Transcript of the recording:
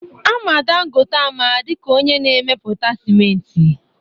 Ama Dangote ama dịka onye na-emepụta sịmenti